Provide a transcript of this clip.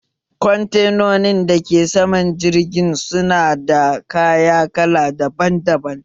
Kwantenonin dake saman jirgin su na da kaya kala daban daban